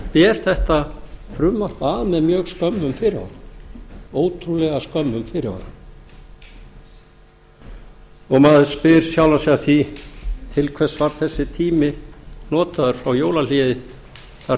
ber þetta frumvarp að með mjög skömmum fyrirvara ótrúlega skömmum fyrirvara maður spyr sjálfan sig að því til hvers var þessi tími notaður frá jólahléi þar til þetta